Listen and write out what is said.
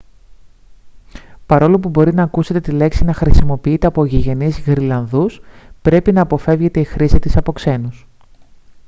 παρόλο που μπορεί να ακούσετε τη λέξη να χρησιμοποιείται από γηγενείς γροιλανδούς πρέπει να αποφεύγεται η χρήση της από ξένους